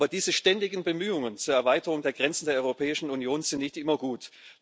Aber diese ständigen Bemühungen zur Erweiterung der Grenzen der Europäischen Union sind nicht immer gut.